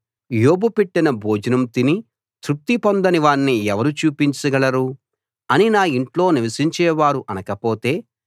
యోబు పెట్టిన భోజనం తిని తృప్తి పొందని వాణ్ణి ఎవరు చూపించగలరు అని నా ఇంట్లో నివసించేవారు అనకపోతే